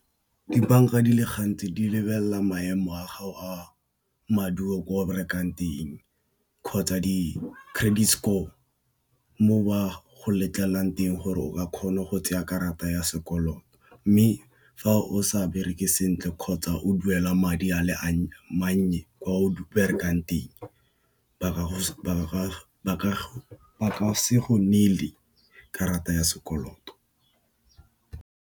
Dibanka di le gantsi di lebelela maemo a gago a maduo ko o berekang teng kgotsa di credit score mo ba go letlelelang teng gore o ka kgona go tseya karata ya sekoloto. Mme, fa o sa bereke sentle kgotsa o duela madi a le mannye kwa o berekang teng, ba ka se go neele karata ya sekoloto.